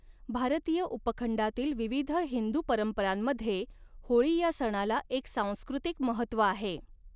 भारतीय उपखंडातील विविध हिंदू परंपरांमध्ये होळी या सणाला एक सांस्कृतिक महत्त्व आहे.